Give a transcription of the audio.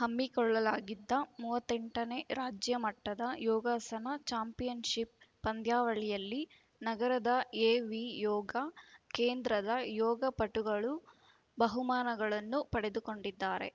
ಹಮ್ಮಿಕೊಳ್ಳಲಾಗಿದ್ದ ಮೂವತ್ತ್ ಎಂಟ ನೇ ರಾಜ್ಯಮಟ್ಟದ ಯೋಗಾಸನ ಚಾಂಪಿಯನ್‌ಶಿಪ್‌ ಪಂದ್ಯಾವಳಿಯಲ್ಲಿ ನಗರದ ಎವಿ ಯೋಗ ಕೇಂದ್ರದ ಯೋಗ ಪಟುಗಳು ಬಹುಮಾನಗಳನ್ನು ಪಡೆದುಕೊಂಡಿದ್ದಾರೆ